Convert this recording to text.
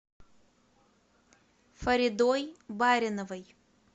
фаридой бариновой